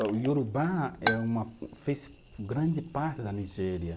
O Iorubá é uma, fez grande parte da Nigéria.